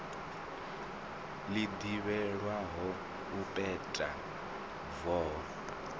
ḽi ḓivhelwaho u peta voho